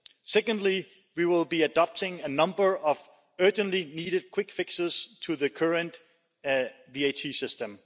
Secondly, we will be adopting a number of urgently needed quick fixes to the current VAT system.